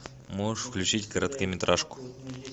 можешь включить короткометражку